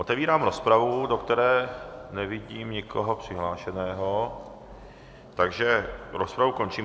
Otevírám rozpravu, do které nevidím nikoho přihlášeného, takže rozpravu končím.